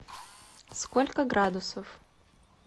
сколько градусов